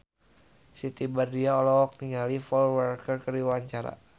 Siti Badriah olohok ningali Paul Walker keur diwawancara